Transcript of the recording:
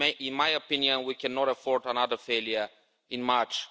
In my opinion, we cannot afford another failure in March.